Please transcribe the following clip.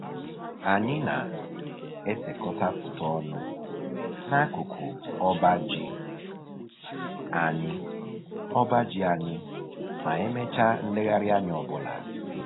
Anyị na-esekọta foto ọnụ n'akụkụ ọba ji anyị ọba ji anyị ma e mechaa nlegharịanya ọbụla